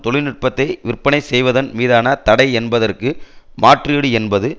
தொழில்நுட்பத்தை விற்பனை செய்வதன் மீதான தடை என்பதற்கு மாற்றீடு என்பது